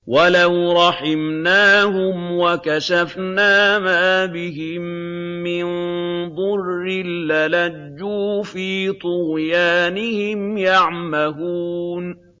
۞ وَلَوْ رَحِمْنَاهُمْ وَكَشَفْنَا مَا بِهِم مِّن ضُرٍّ لَّلَجُّوا فِي طُغْيَانِهِمْ يَعْمَهُونَ